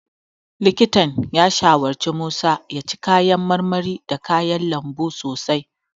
Likitan ya shawarci Musa ya ci kayan marmari da kayan lambu sosai.